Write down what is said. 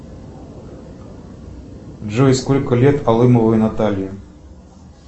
джой сколько лет алымовой наталье